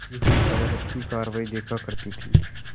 बैठी हुई अदालत की कारवाई देखा करती थी